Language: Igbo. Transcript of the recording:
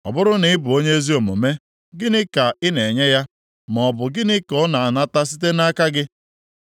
Ọ bụrụ na ị bụ onye ezi omume, gịnị ka ị na-enye ya, maọbụ gịnị ka ọ na-anata site nʼaka gị?